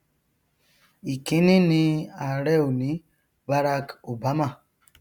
ìkíní ni ààrẹ òní barak obama